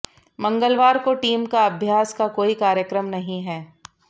मंगलवार को टीम का अभ्यास का कोई कार्यक्रम नहीं है